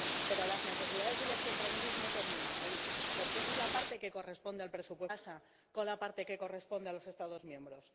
Pero las necesidades y los compromisos no terminan ahí, porque esa es la parte que corresponde al presupuesto europeo, pero ¿qué pasa con la parte que corresponde a los Estados miembros?